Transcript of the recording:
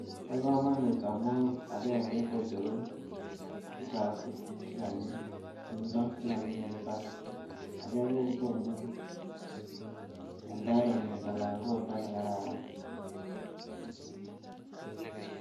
Bo kamanut amu agenge, kocheru uchafu che kanyi sumdo che kanyi eng imbaar ake kokonu environment anan ko oldo ne kararan.